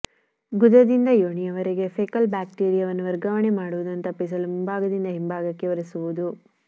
ಗುದದಿಂದ ಯೋನಿಯವರೆಗೆ ಫೆಕಲ್ ಬ್ಯಾಕ್ಟೀರಿಯಾವನ್ನು ವರ್ಗಾವಣೆ ಮಾಡುವುದನ್ನು ತಪ್ಪಿಸಲು ಮುಂಭಾಗದಿಂದ ಹಿಂಭಾಗಕ್ಕೆ ಒರೆಸುವುದು